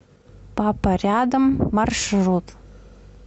папа рядом маршрут